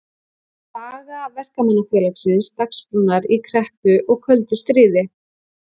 Saga Verkamannafélagsins Dagsbrúnar í kreppu og köldu stríði.